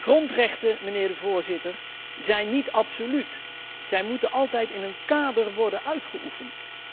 Grondrechten, mijnheer de Voorzitter, zijn niet absoluut, zij moeten altijd in een kader worden uitgeoefend.